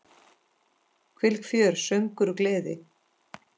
Þvílíkt fjör, söngur og gleði.